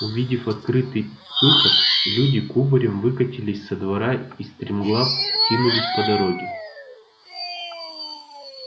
увидев открытый выход люди кубарем выкатились со двора и стремглав кинулись по дороге